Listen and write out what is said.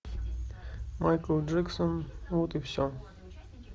майкл джексон вот и все